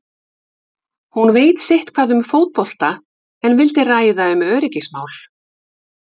Hún veit sitthvað um fótbolta en vildi ræða um öryggismál.